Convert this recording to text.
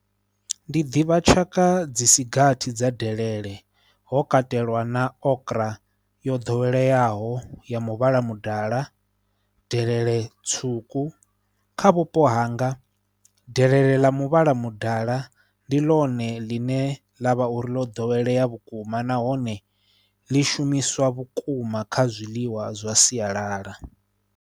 Ndi ḓivha tshaka dzi si gathi dza delele, ho katelwa na okra yo ḓoweleaho ya muvhala mudala, delele tswuku kha vhupo ha hanga, delele ḽa muvhala mudala ndi ḽone ḽine ḽa vha uri ḽo ḓowelea vhukuma nahone ḽi shumiswa vhukuma kha zwiḽiwa zwa sialala.